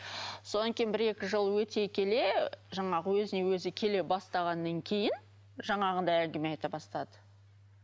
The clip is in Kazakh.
содан кейін бір екі жыл өте келе жаңағы өзіне өзі келе бастағаннан кейін жаңағындай әңгіме айта бастады